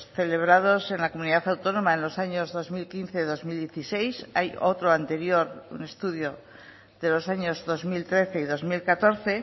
celebrados en la comunidad autónoma en los años dos mil quince dos mil dieciséis hay otro anterior un estudio de los años dos mil trece y dos mil catorce